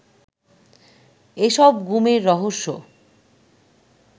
এসব গুমের রহস্য